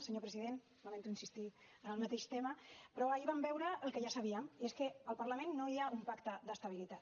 senyor president lamento insistir en el mateix tema però ahir vam veure el que ja sabíem i és que al parlament no hi ha un pacte d’estabilitat